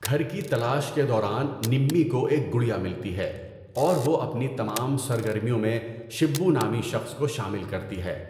گھر کی تلاش کے دوران، نمی کو ایک گڑیا ملتی ہے اور وہ اپنی تمام سرگرمیوں میں 'شبو' نامی شخص کو شامل کرتی ہے۔